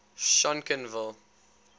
schonkenville